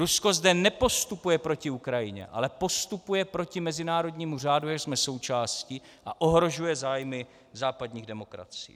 Rusko zde nepostupuje proti Ukrajině, ale postupuje proti mezinárodnímu řádu, jehož jsme součástí, a ohrožuje zájmy západních demokracií.